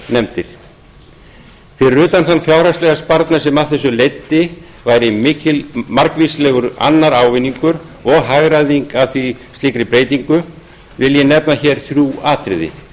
fyrir utan þann fjárhagslega sparnað sem af þessu leiddi væri margvíslegur annar ávinningur og hagræðing af slíkri breytingu vil ég nefna hér þrjú atriði